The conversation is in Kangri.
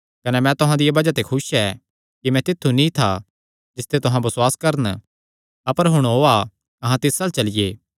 कने मैं तुहां दिया बज़ाह ते खुस ऐ कि मैं तित्थु नीं था जिसते तुहां बसुआस करन अपर हुण ओआ अहां तिस अल्ल चलिये